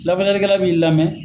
Lafasalikɛla b'i lamɛn